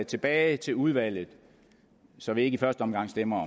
tilbage til udvalget så vi ikke i første omgang stemmer